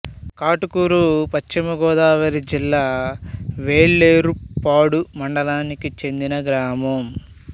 కాటుకూరు పశ్చిమ గోదావరి జిల్లా వేలేరుపాడు మండలానికి చెందిన గ్రామం